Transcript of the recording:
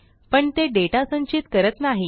पण ते डेटा संचित करत नाही